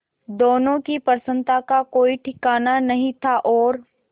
दोनों की प्रसन्नता का कोई ठिकाना नहीं था और